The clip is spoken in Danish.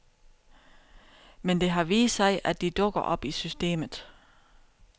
Men det har vist sig, at de dukker op i systemet.